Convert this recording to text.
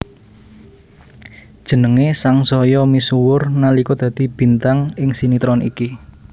Jenengé sangsaya misuwur nalika dadi bintang ing sinetron iki